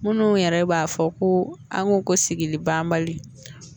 Minnu yɛrɛ b'a fɔ ko an ko ko sigili banbali